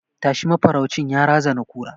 Tashi! mafaraucin ya razana kura